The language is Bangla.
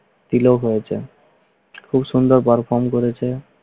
তিলক হয়েছে খুব সুন্দর perform করেছে।